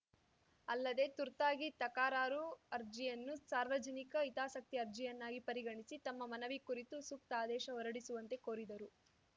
ಅಲ್ಲದೆ ತುರ್ತಾಗಿ ತಕರಾರು ಅರ್ಜಿಯನ್ನು ಸಾರ್ವಜನಿಕ ಹಿತಾಸಕ್ತಿ ಅರ್ಜಿಯನ್ನಾಗಿ ಪರಿಗಣಿಸಿ ತಮ್ಮ ಮನವಿ ಕುರಿತು ಸೂಕ್ತ ಆದೇಶ ಹೊರಡಿಸುವಂತೆ ಕೋರಿದರು